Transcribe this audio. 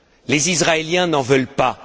Les Israéliens n'en veulent pas.